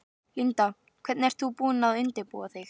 Linda: Hvernig ert þú búin að undirbúa þig?